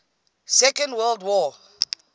second world war